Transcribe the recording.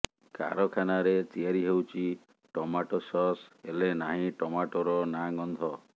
କାରଖାନାରେ ତିଆରି ହେଉଛି ଟମାଟୋ ସସ୍ ହେଲେ ନାହିଁ ଟମାଟୋର ନାଁ ଗନ୍ଧ